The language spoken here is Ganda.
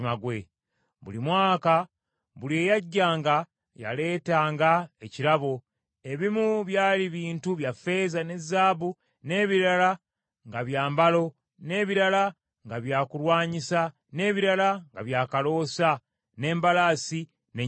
Buli mwaka, buli eyajjanga, yaleetanga ekirabo, ebimu byali bintu bya ffeeza ne zaabu, n’ebirala nga byambalo, n’ebirala nga byakulwanyisa, n’ebirala nga byakaloosa, n’embalaasi, n’ennyumbu.